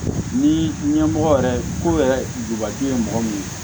Ni ɲɛmɔgɔ yɛrɛ ko yɛrɛ dubaki ye mɔgɔ min ye